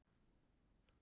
Hvar er þurrís notaður?